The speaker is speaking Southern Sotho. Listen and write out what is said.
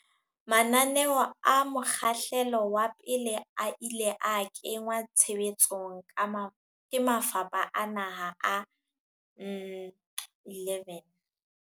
Mananeo a mokgahlelo wa pele a ile a kenngwa tshe betsong ke mafapha a naha a 11.